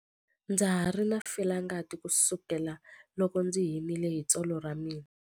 Ndza ha ri na felangati kusukela loko ndzi himile hi tsolo ra mina.